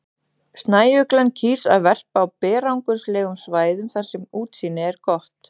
Snæuglan kýs að verpa á berangurslegum svæðum þar sem útsýni er gott.